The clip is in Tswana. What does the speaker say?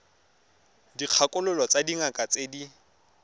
dikgakololo tsa dingaka tse di